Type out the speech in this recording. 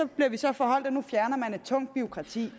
bliver vi så forholdt at nu fjerner man et tungt bureaukrati